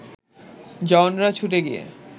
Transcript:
জওয়ানরা ছুটে গিয়ে